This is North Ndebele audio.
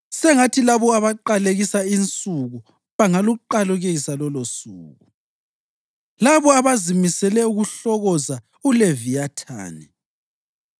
Sengathi labo abaqalekisa insuku bangaluqalekisa lolosuku, labo abazimisele ukuhlokoza uLeviyathani.